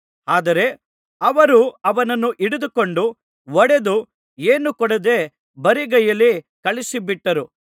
ಆದರೆ ಅವರು ಅವನನ್ನು ಹಿಡಿದುಕೊಂಡು ಹೊಡೆದು ಏನೂ ಕೊಡದೆ ಬರಿಗೈಯಲ್ಲಿ ಕಳುಹಿಸಿಬಿಟ್ಟರು